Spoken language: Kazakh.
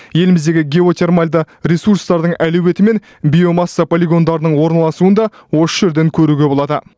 еліміздегі геотермальды ресурстардың әлеуеті мен биомасса полигондарының орналасуын да осы жерден көруге болады